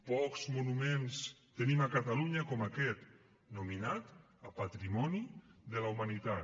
pocs monuments tenim a catalunya com aquest nominat a patrimoni de la humanitat